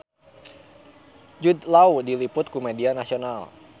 Jude Law diliput ku media nasional